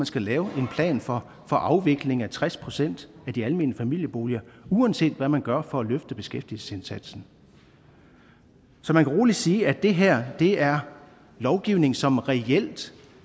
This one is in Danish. skal laves en plan for afvikling af tres procent af de almene familieboliger uanset hvad man gør for at løfte beskæftigelsesindsatsen så man kan roligt sige at det her er lovgivning som reelt